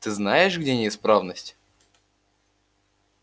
ты знаешь где неисправность